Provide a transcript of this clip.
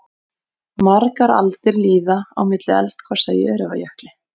Margar aldir líða á milli eldgosa í Öræfajökli.